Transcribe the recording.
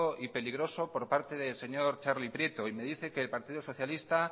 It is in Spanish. y peligroso por parte del señor txarli prieto y me dice que el partido socialista